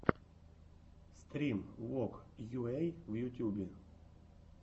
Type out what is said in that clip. стрим вог йуэй в ютюбе